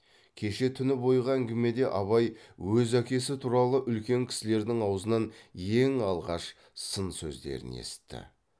кеше түні бойғы әңгімеде абай өз әкесі туралы үлкен кісілердің аузынан ең алғаш сын сөздерін есітті